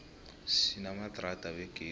sinamadrada wegezi